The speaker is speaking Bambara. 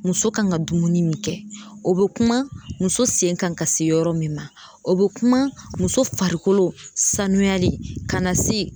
Muso kan ka dumuni min kɛ o be kuma muso sen kan ka se yɔrɔ min ma o be kuma muso farikolo sanuyali ka na se